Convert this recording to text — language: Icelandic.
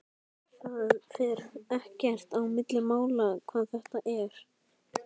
Það fer ekkert á milli mála hvar þetta er.